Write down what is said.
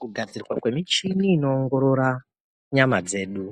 Kugadzirwa kwemichini inoongorora nyama dzedu